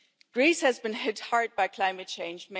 Greece has been hit hard by climate change.